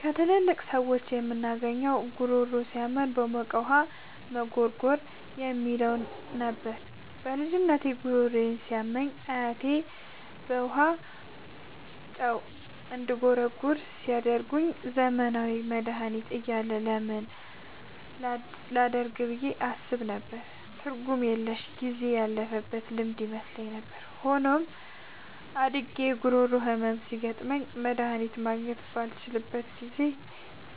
ከትላልቅ ሰዎች የምናገኘው "ጉሮሮ ሲያመን በሞቀ ጨው ውሃ መጉርጎር" የሚለው ነበር። በልጅነቴ ጉሮሮዬ ሲያመኝ አያቶቼ በጨው ውሃ እንድጉርጎር ሲነግሩኝ፣ ዘመናዊ መድሃኒት እያለ ለምን ይህን ላደርግ ብዬ አስብ ነበር። ትርጉም የለሽና ጊዜ ያለፈበት ልማድ ይመስለኝ ነበር። ሆኖም፣ አድጌ የጉሮሮ ህመም ሲያጋጥመኝና መድሃኒት ማግኘት ባልችልበት ጊዜ፣